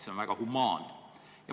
See on väga humaanne.